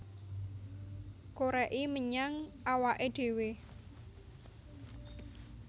Koreki menyang awake dewe